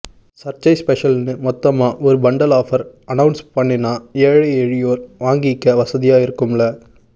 சர்ச்சை ஸ்பெஷல்னு மொத்தமா ஒரு பண்டல் ஆஃப்ர் அனவ்ன்ஸ் பண்ணினா ஏழை எளியோர் வாங்கிக்க வசதியா இருக்கும்ல